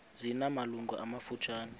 zina malungu amafutshane